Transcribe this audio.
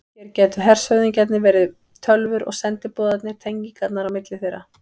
Hér gætu hershöfðingjarnir verið tölvur og sendiboðarnir tengingarnar á milli þeirra.